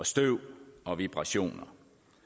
støv og vibrationer